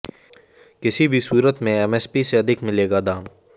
किसी भी सूरत में एमएसपी से अधिक मिलेगा दाम